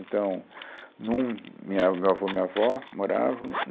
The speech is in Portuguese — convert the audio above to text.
Então, num, minha meu avô e minha avó moravam.